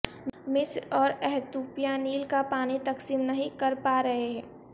مصر اور ایتھوپیا نیل کا پانی تقسیم نہیں کر پا رہے